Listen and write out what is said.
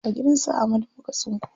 A gidan su Ahmadu muka tsinko.